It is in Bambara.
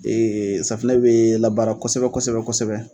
Ee safunɛ bɛ laaara kosɛbɛ kosɛbɛ kosɛbɛ.